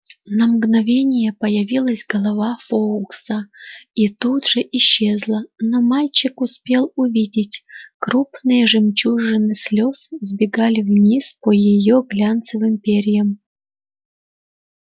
на мгновение проявилась голова фоукса и тут же исчезла но мальчик успел увидеть крупные жемчужины слез сбегали вниз по её глянцевым перьям